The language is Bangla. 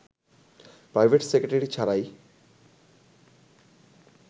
প্রাইভেট সেক্রেটারি ছাড়াই